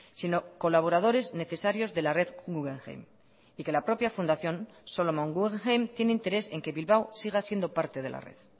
sino colaboradores necesarios de la red guggenheim y que la propia fundación solomon guggenheim tiene interés en que bilbao siga siendo parte de la red